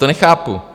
To nechápu.